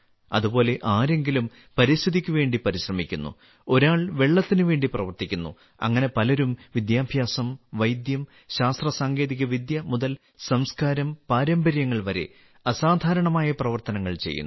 അതുപോലെ ആരെങ്കിലും പരിസ്ഥിതിക്ക് വേണ്ടി പരിശ്രമിക്കുന്നു ഒരാൾ വെള്ളത്തിന് വേണ്ടി പ്രവർത്തിക്കുന്നു അങ്ങനെ പലരും വിദ്യാഭ്യാസം വൈദ്യം ശാസ്ത്ര സാങ്കേതിക വിദ്യ മുതൽ സംസ്കാരം പാരമ്പര്യങ്ങൾ വരെ അസാധാരണമായ പ്രവർത്തനങ്ങൾ ചെയ്യുന്നു